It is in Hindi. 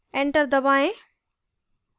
enter दबाएँ